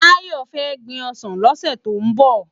Tayo fè gbin òsán lòsè tó n bò